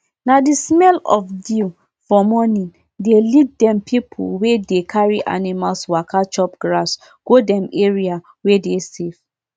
di stick wey dem go use plant crop e must touch ancestral stones before e go enter di enter di first mound.